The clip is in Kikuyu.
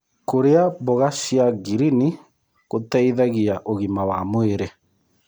Kũrĩa mboga cia ngirini gũteĩthagĩa ũgima wa mwĩrĩ